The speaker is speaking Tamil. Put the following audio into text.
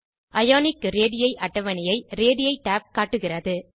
அயோனிக் ரேடி ன் அட்டவணையை ரேடி tab காட்டுகிறது